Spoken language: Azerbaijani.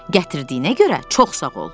Gətirdiyinə görə çox sağ ol.